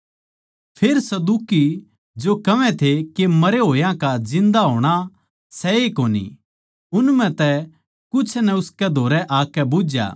फेर सदूकी जो कहवै सै के मरे होया का जिन्दा होणा सै ए कोनी उन म्ह तै कुछ नै उसकै धोरै आकै बुझ्झया